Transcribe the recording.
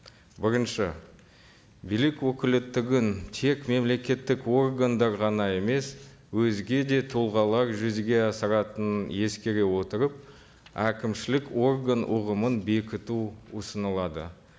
бірінші билік өкілеттігін тек мемлекеттік органдар ғана емес өзге де тұлғалар жүзеге асыратынын ескере отырып әкімшілік орган ұғымын бекіту ұсынылады